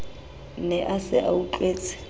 ne a se a utlwetse